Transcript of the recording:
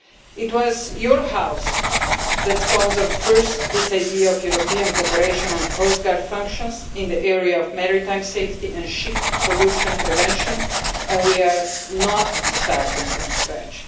It was this House that first sponsored this idea of European cooperation on coastguard functions in the area of maritime safety and ship pollution prevention, and we are not starting from scratch.